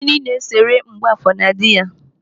Gịnị na esere Mgbọafọ na dị ya?